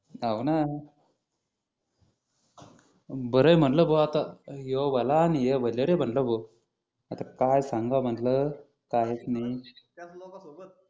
हाव न बरंय म्हणलं भो आता ह्यो भला आणि हे भले रे म्हणलं भो आता काय सांगा म्हणलं काय नि त्याच लोकां सोबत